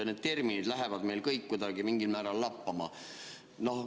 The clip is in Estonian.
Need terminid lähevad meil kõik kuidagi mingil määral lappama.